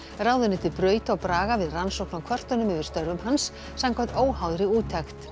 ráðuneytið braut á Braga við rannsókn á kvörtunum yfir störfum hans samkvæmt óháðri úttekt